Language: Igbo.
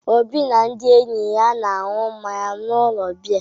Obi na ndị enyi ya na-aṅụ mmanya n’ụlọ biya.